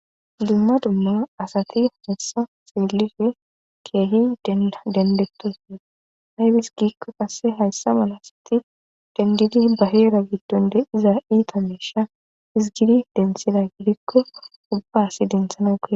Dumma dumma asati hessa seelire keehi dendettosuna hayfis gikko qasse hayssa mala siti dendidi baheera giddonde iza iita meesha izgidi densila gidikko ubbaasi dinthana ge